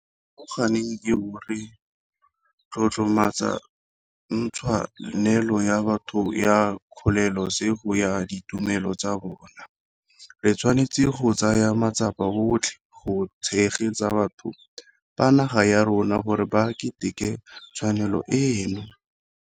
Mo nageng eo re tlotlomatsang tshwa nelo ya batho ya kgolole sego ya ditumelo tsa bona, re tshwanetse go tsaya matsapa otlhe go tshegetsa batho ba naga ya rona gore ba keteke tshwanelo eno.